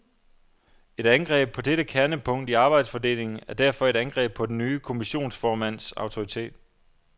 Et angreb på dette kernepunkt i arbejdsfordelingen er derfor et angreb på den nye kommissionsformands autoritet.